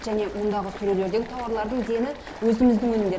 және мұндағы сөрелердегі тауарлардың дені өзіміздің өнімдер